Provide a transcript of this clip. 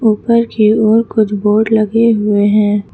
ऊपर की ओर कुछ बोर्ड लगे हुए हैं।